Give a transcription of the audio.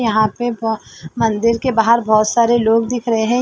यहां पे वह मंदिर के बाहर बहुत सारे लोग दिख रहे है।